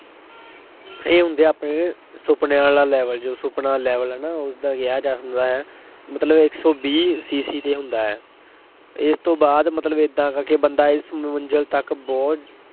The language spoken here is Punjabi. ਇਹੀ ਹੁੰਦਾ ਆ ਆਪਣੇ ਜਿਹੜੇ ਸੁਪਨਿਆਂ ਵਾਲਾ level ਜੋ ਸੁਪਨਾ level ਹੈ ਨਾ ਉਸਦਾ ਕਿਹਾ ਜਾ ਸਕਦਾ ਹੈ, ਮਤਲਬ ਇੱਕ ਸੌ ਵੀਹ CC ਤੇ ਹੁੰਦਾ ਹੈ। ਇਸ ਤੋਂ ਬਾਅਦ ਮਤਲਬ ਏਦਾਂ ਕਰਕੇ ਬੰਦਾ ਇਹ ਮੰਜ਼ਿਲ ਤੱਕ ਬਹੁਤ